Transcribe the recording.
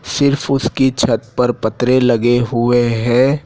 सिर्फ उसकी छत पर पतरे लगे हुए हैं।